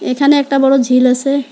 এখানে একটা বড় ঝিল আসে।